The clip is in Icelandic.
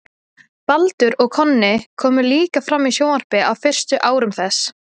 baldur og konni komu líka fram í sjónvarpi á fyrstu árum þess